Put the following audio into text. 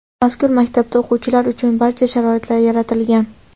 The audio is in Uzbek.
Mazkur maktabda o‘quvchilar uchun barcha sharoitlar yaratilgan.